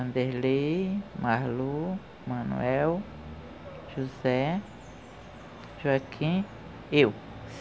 Anderley, Marlo, Manuel, José, Joaquim, eu.